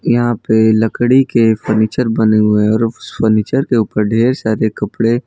यहां पे लकड़ी के फर्नीचर बने हुए है और उस फर्नीचर के ऊपर ढेर सारे कपड़े--